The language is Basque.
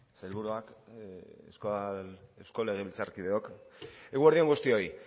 sailburuak eusko legebiltzarkideok eguerdi on guztioi